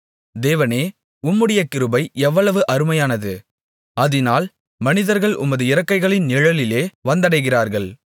தேவனே உம்முடைய கிருபை எவ்வளவு அருமையானது அதினால் மனிதர்கள் உமது இறக்கைகளின் நிழலிலே வந்தடைகிறார்கள்